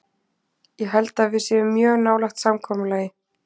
Ég held að við séum mjög nálægt samkomulagi.